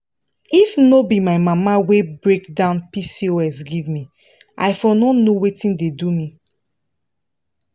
if no be my mama wey break down pcos give me i for no know wetin dey do me.